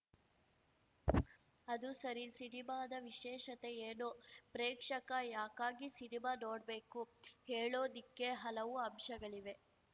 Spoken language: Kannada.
ಅದು ಸರಿ ಸಿನಿಮಾದ ವಿಶೇಷತೆ ಏನು ಪ್ರೇಕ್ಷಕ ಯಾಕಾಗಿ ಸಿನಿಮಾ ನೋಡ್ಬೇಕು ಹೇಳೋದಿಕ್ಕೆ ಹಲವು ಅಂಶಗಳಿವೆ